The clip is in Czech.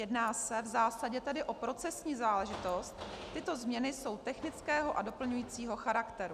Jedná se v zásadě tedy o procesní záležitost, tyto změny jsou technického a doplňujícího charakteru.